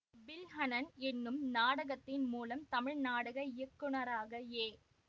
பில்ஹணன் எனும் நாடகத்தின் மூலம் தமிழ் நாடக இயக்குநராக ஏ